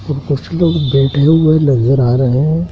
और कुछ लोग बैठे हुए नजर आ रहे हैं।